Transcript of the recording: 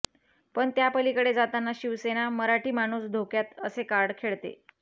पण त्यापलिकडे जाताना शिवसेना मराठी माणूस धोक्यात असे कार्ड खेळते